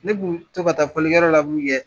Ne kun to ka taa fɔlikɛ yɔrɔ la min kɛ